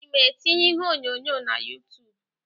Ị ma etinye iheonyonyo na Yutub?